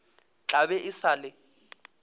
tla be e sa le